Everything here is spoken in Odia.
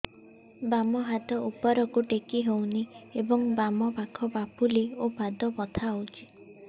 ବାମ ହାତ ଉପରକୁ ଟେକି ହଉନି ଏବଂ ବାମ ପାଖ ପାପୁଲି ଓ ପାଦ ବଥା ହଉଚି